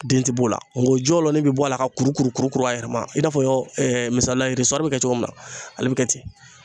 Den tɛ b'o la n ko jɔlɔnin bɛ bɔ a la ka kuru kuru kuru kuru a yɛrɛ ma i n'a fɔ misaliya bɛ kɛ cogo min na ale bɛ kɛ ten